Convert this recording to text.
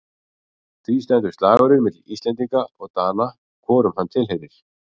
Því stendur slagurinn milli Íslendinga og Dana hvorum hann tilheyrir.